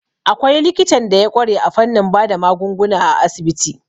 Akwai likitan da ya ƙware a fannin bada magunguna a asibiti.